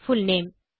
full name